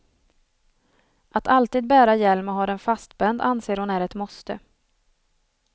Att alltid bära hjälm och ha den fastspänd anser hon är ett måste.